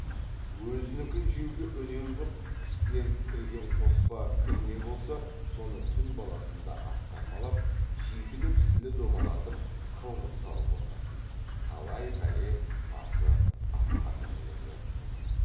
өзінікін жеуге үнем қып кісіден кірген қоспа кірме болса соны түн баласында ақтармалап шикілі пісілі домалатып қылғып салып отыратын талай пәле басы атқа мінерелер болады